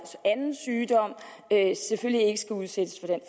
er selvfølgelig ikke udsættes